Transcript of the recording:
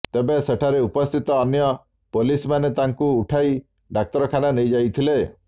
ତେବେ ସେଠାରେ ଉପସ୍ଥିତ ଅନ୍ୟ ପୋଲିସମାନେ ତାଙ୍କୁ ଉଠାଇ ଡାକ୍ତରଖାନା ନେଇଯାଇଥିଲେ